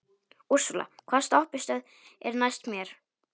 Úrsúla, hvaða stoppistöð er næst mér?